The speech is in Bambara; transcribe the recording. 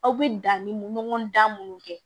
Aw bɛ danni ɲɔgɔn dan minnu kɛ